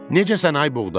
Necəsən, ay buğda?